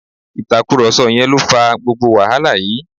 Ìtàkùrọ̀sọ yẹn lo fà gbogbo wàhálà yìí